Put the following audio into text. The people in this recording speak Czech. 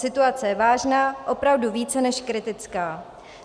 Situace je vážná, opravdu více než kritická.